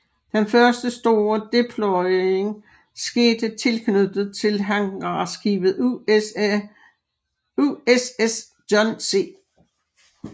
Den første store deployering skete tilknyttet til hangarskibet USS John C